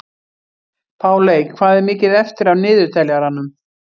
Páley, hvað er mikið eftir af niðurteljaranum?